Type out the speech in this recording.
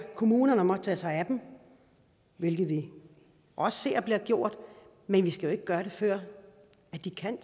kommunerne om at tage sig af dem hvilket vi også ser bliver gjort men vi skal jo ikke gøre det før de kan